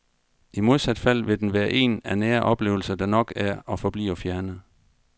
I modsat fald vil den være en af nære oplevelser, der nok er og forbliver fjerne.